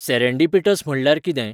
Serendipitous म्हणल्यार कितें?